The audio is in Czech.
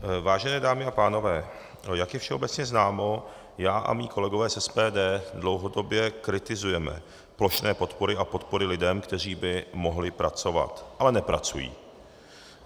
Vážené dámy a pánové, jak je všeobecně známo, já a moji kolegové z SPD dlouhodobě kritizujeme plošné podpory a podpory lidem, kteří by mohli pracovat, ale nepracují.